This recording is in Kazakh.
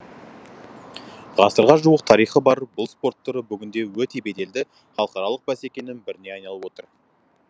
ғасырға жуық тарихы бар бұл спорт түрі бүгінде өте беделді халықаралық бәсекенің біріне айналып отыр